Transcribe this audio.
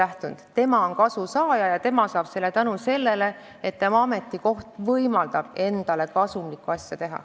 See inimene on kasusaaja ja ta saab seda kasu tänu sellele, et tema ametikoht võimaldab tal endale kasumlikku asja teha.